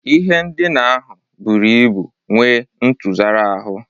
Ihe ndina ahụ buru ibu nwee ntụsara ahụ.